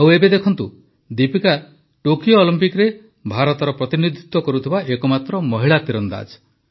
ଆଉ ଏବେ ଦେଖନ୍ତୁ ଦୀପିକା ଟୋକିଓ ଅଲିମ୍ପିକ୍ସରେ ଭାରତର ପ୍ରତିନିଧିତ୍ୱ କରୁଥିବା ଏକମାତ୍ର ମହିଳା ତୀରନ୍ଦାଜ